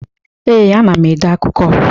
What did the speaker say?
Ee, ana m ede akụkọ.